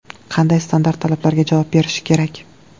Qanday standart talablarga javob berishi kerak?